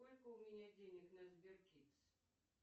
сколько у меня денег на сбер кидс